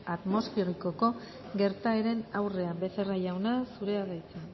atmosferikoko gertaeren aurrean becerra jauna zurea da hitza